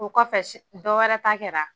O kɔfɛ s dɔ wɛrɛ ta kɛra